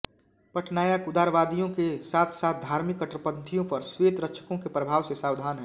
पटनायक उदारवादियों के साथसाथ धार्मिक कट्टरपंथियों पर श्वेत रक्षकों के प्रभाव से सावधान हैं